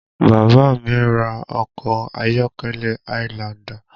Bàbá mi ra ọkọ ayọ́kẹ́lẹ́ highlander